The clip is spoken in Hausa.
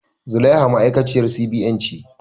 Zulaiha ma'aikaciyar C.B.N ce